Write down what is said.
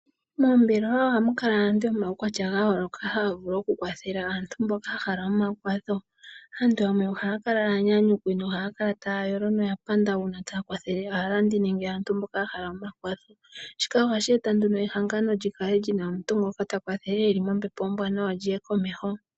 Moombelewa oha mu kala aantu yomawukwatya ga yooloka haya vulu oku kwathela aantu mboka haya ya hala omakwatho. Aantu yamwe oha ya kala aanyanyukwi, nohaa kala taa yolo no ya panda una taa kwathele aalandi, nenge aantu mboka ya hala omakwatho. Shika ohashi eta nduno ehangano li kale lina omuntu ngoka ta kwathele eli mombepo ombwaanawa lyi ye komeho.